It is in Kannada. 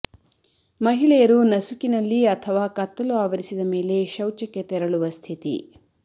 ಮಹಿಳೆಯರು ನಸುಕಿನಲ್ಲಿ ಅಥವಾ ಕತ್ತಲು ಆವರಿಸಿದ ಮೇಲೆ ಶೌಚಕ್ಕೆ ತೆರಳುವ ಸ್ಥಿತಿ